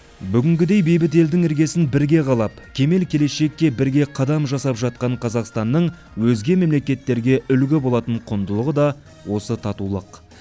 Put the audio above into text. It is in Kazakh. бүгінгідей бейбіт елдің іргесін бірге қалап кемел келешекке бірге қадам жасап жатқан қазақстанның өзге мемлекеттерге үлгі болатын құндылығы да осы татулық